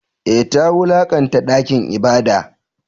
Eh, ta wulakanta dakin ibada.